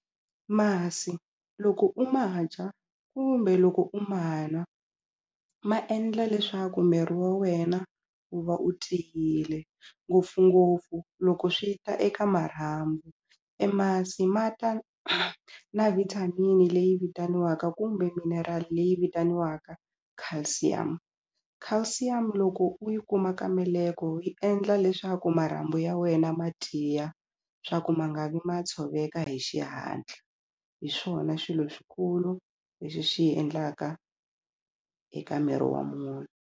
Masi loko u ma dya kumbe loko u ma nwa ma endla leswaku miri wa wena u va u tiyile ngopfungopfu loko swi ta eka marhambu e masi ma ta na vitamin leyi vitaniwaka kumbe minerali leyi vitaniwaka calcium calcium loko u yi kuma ka meleke yi endla leswi swa ku marhambu ya wena ma tiya swa ku ma nga vi ma tshoveka hi xihatla hi swona swilo swikulu leswi swi endlaka eka miri wa munhu.